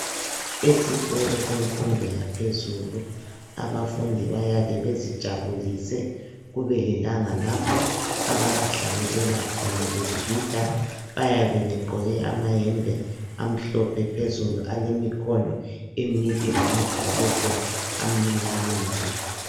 Esikolo semfundo yaphezulu abafundi bayake bezijabulise kube lelanga lapho abazihlabelela khona begida bayabe begqoke amayembe amhlophe phezulu alemikhono emide lama bhurugwe amnyama.